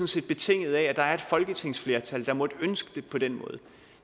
set betinget af at der er et folketingsflertal der måtte ønske det på den måde og